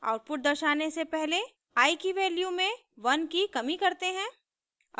output दर्शाने से पहले i की वैल्यू में 1 की कमी करते हैं